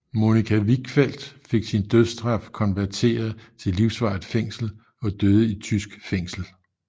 Monica Wichfeld fik sin dødsstraf konverteret til livsvarigt fængsel og døde i tysk føngsel